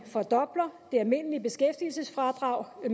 fordobler det almindelige beskæftigelsesfradrag det